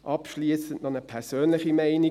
Abschliessend noch eine persönliche Meinung: